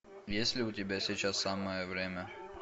есть ли у тебя сейчас самое время